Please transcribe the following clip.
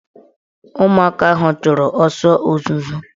Ụmụaka ahụ chụrụ ọsọ ozuzo